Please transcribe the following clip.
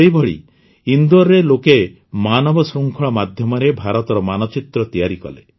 ସେହିଭଳି ଇନ୍ଦୋରରେ ଲୋକେ ମାନବ ଶୃଙ୍ଖଳ ମାଧ୍ୟମରେ ଭାରତର ମାନଚିତ୍ର ତିଆରି କଲେ